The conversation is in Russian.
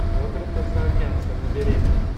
роберта саакянца набери